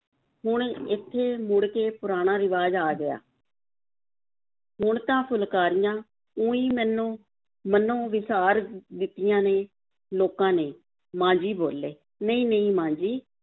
ਹੁਣ ਇੱਥੇ ਮੁੜ ਕੇ ਪੁਰਾਣਾ ਰਿਵਾਜ਼ ਆ ਗਿਆ ਹੁਣ ਤਾਂ ਫੁਲਕਾਰੀਆਂ ਊਂਈਂ ਮੈਨੂੰ ਮਨੋਂ ਵਿਸਾਰ ਦਿੱਤੀਆਂ ਨੇ, ਲੋਕਾਂ ਨੇ, ਮਾਂ ਜੀ ਬੋਲੇ, ਨਹੀਂ-ਨਹੀਂ ਮਾਂ ਜੀ,